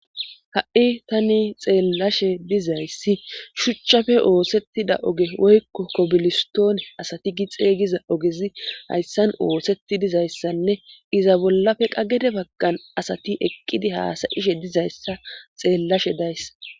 Ha'i tani xeellashe dizayssi shuchchafe oosettida oge woykko kobilistone asati gi xeyiza ogezi hayssan oosetti dizayssanne iza bollafe qagede baggan asati eqqidi haasayishe dizayssa xeellashe dayssa.